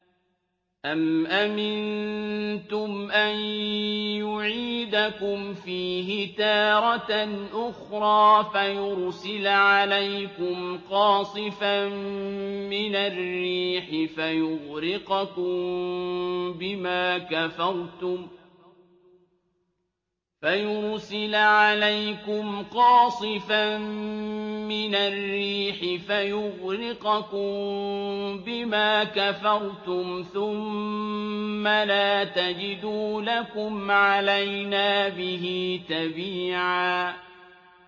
أَمْ أَمِنتُمْ أَن يُعِيدَكُمْ فِيهِ تَارَةً أُخْرَىٰ فَيُرْسِلَ عَلَيْكُمْ قَاصِفًا مِّنَ الرِّيحِ فَيُغْرِقَكُم بِمَا كَفَرْتُمْ ۙ ثُمَّ لَا تَجِدُوا لَكُمْ عَلَيْنَا بِهِ تَبِيعًا